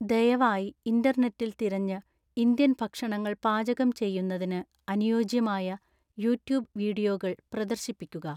ദയവായി ഇൻറർനെറ്റിൽ തിരഞ്ഞ് ഇന്ത്യൻ ഭക്ഷണങ്ങൾ പാചകം ചെയ്യുന്നതിന് അനുയോജ്യമായ യൂട്യൂബ് വീഡിയോകൾ പ്രദർശിപ്പിക്കുക